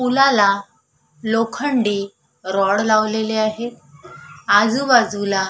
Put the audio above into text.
पुलाला लोखंडी रॉड लावलेले आहेत आजूबाजूला--